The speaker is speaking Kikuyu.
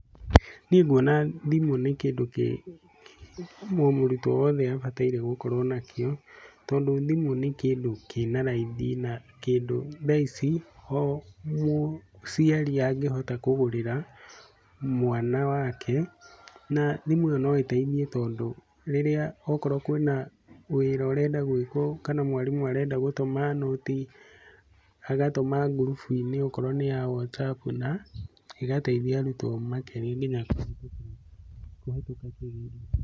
Niĩ nguona thimũ nĩ kĩndũ kĩ o mũrutwo wothe abataire gũkorwo na kĩo, tondũ thimũ nĩ kĩndũ kĩna raithi, na kĩndũ thaa ici o mũciari angĩhota kũgũrĩra mwana wake. Na thimũ ĩyo no ĩteithie tondũ rĩrĩa okorwo kwĩna wĩra ũrenda gwĩkwo, kana mwarimũ arenda gutũma nũti. Agatũma ngurubu-inĩ Okorwo nĩ ya Whatsapp na ĩgateithia arutwo makĩria nginya kũhitũka kĩgerio.